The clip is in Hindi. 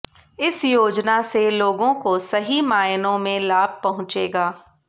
इस योजना से लोगों को सही मायनों में लाभ पहुंचेगा